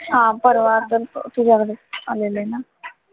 हा परवा पण तुझ्याकडे आलेले ना,